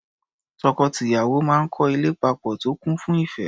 Tọkọ-tìyàwó máa ń kọ́ ilé papọ̀ tó kún fún ìẹ́.